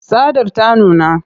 Tsadar ta nuna.